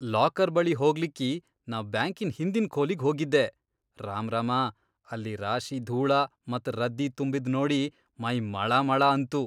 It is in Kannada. ಲಾಕರ್ ಬಳಿ ಹೋಗ್ಲಿಕ್ಕಿ ನಾ ಬ್ಯಾಂಕಿನ್ ಹಿಂದಿನ್ ಖೋಲಿಗ್ ಹೋಗಿದ್ದೆ, ರಾಮ್ರಾಮಾ ಅಲ್ಲಿ ರಾಶಿ ಧೂಳ ಮತ್ ರದ್ದಿ ತುಂಬಿದ್ ನೋಡಿ ಮೈ ಮಳಮಳ ಅಂತು.